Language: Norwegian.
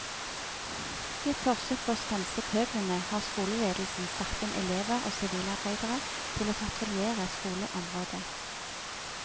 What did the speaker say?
I et forsøk på å stanse pøblene, har skoleledelsen satt inn elever og sivilarbeidere til å patruljere skoleområdet.